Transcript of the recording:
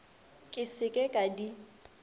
ke se ke ka di